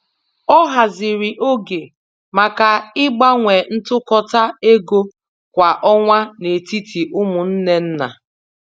Ọ haziri oge maka ịgbanwe ntụkọta égo kwa ọnwa n'etiti umunne nna.